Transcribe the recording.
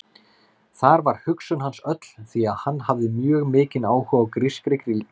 Þar var hugsun hans öll því að hann hafði mjög mikinn áhuga á grískri glímu.